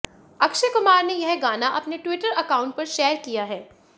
अक्षय कुमार ने यह गाना अपने ट्विटर अकाउंट पर शेयर किया है